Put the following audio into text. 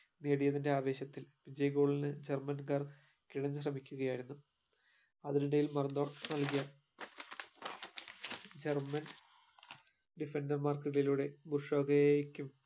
നേടിയതിന്റെ ആവേശത്തിൽ വിജയ goal ഇന് ജർമൻകാർ കിടന്ന് ശ്രമിക്കുകയായിരുന്നു അതിനിടയിൽ മറഡോണയ്ക് നൽകിയ ജർമൻ defender മാർക്കിടയിലൂടെ